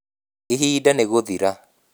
ihinda nĩ gũthira